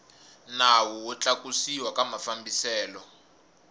nawu wo tlakusiwa ka mafambiselo